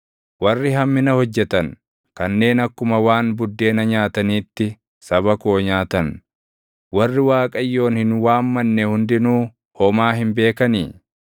Warri hammina hojjetan kanneen akkuma waan buddeena nyaataniitti saba koo nyaatan, warri Waaqayyoon hin waammanne hundinuu homaa hin beekanii?